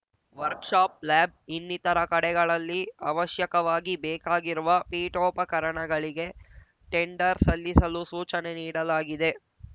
work shop lab ಇನ್ನಿತರ ಕಡೆಗಳಲ್ಲಿ ಅವಶ್ಯಕವಾಗಿ ಬೇಕಾಗಿರುವ ಪೀಠೋಪಕರಣಗಳಿಗೆ ಟೆಂಡರ್‌ ಸಲ್ಲಿಸಲು ಸೂಚನೆ ನೀಡಲಾಗಿದೆ